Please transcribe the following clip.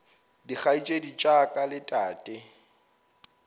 dikgaetšedi tša ka le tate